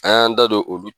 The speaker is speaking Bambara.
An y'an da don olu